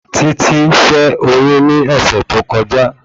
Títí ṣẹ́ oyún ní ọ̀sẹ̀ tí ó kọjá